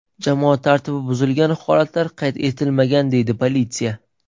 Jamoat tartibi buzilgan holatlar qayd etilmagan”, deydi politsiya.